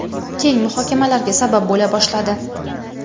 keng muhokamalarga sabab bo‘la boshladi.